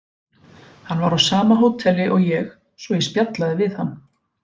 Hann var á sama hóteli og ég svo ég spjallaði við hann.